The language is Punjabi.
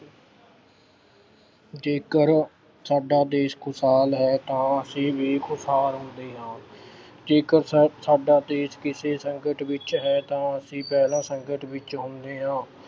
ਜੇਕਰ ਸਾਡਾ ਦੇਸ਼ ਖੁਸ਼ਹਾਲ ਹੈ ਤਾਂ ਅਸੀਂ ਵੀ ਖੁਸ਼ਹਾਲ ਹੁੰਦੇ ਹਾਂ ਜੇਕਰ ਸ ਅਹ ਸਾਡਾ ਦੇਸ਼ ਕਿਸੇ ਸੰਕਟ ਵਿੱਚ ਹੈ ਤਾਂ ਅਸੀਂ ਪਹਿਲਾਂ ਸੰਕਟ ਵਿੱਚ ਹੁੰਦੇ ਹਾਂ।